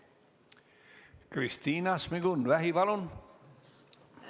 Kristina Šmigun-Vähi, palun!